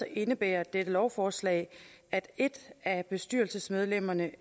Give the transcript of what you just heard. indebærer dette lovforslag at et af bestyrelsesmedlemmerne